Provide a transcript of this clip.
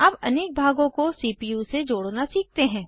अब अनेक भागों को सीपीयू से जोड़ना सीखते हैं